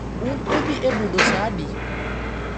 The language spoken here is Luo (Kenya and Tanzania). Un udhi e budho sa adi?